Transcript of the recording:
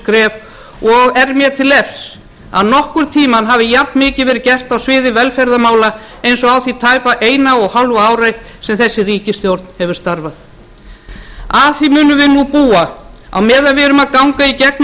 skref og er mér til efs að nokkurn tíma hafi jafnmikið verið gert á sviði velferðarmála eins og á því tæpa eina og hálfa ári sem þessi ríkisstjórn hefur starfað að því munum við nú búa á meðan við erum að ganga í gegnum